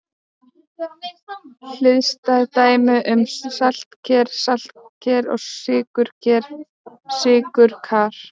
Hliðstæð dæmi eru saltker-saltkar og sykurker-sykurkar.